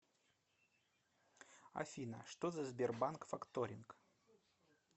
афина что за сбербанк факторинг